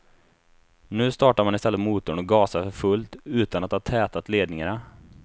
Nu startar man i stället motorn och gasar för fullt, utan att ha tätat ledningarna.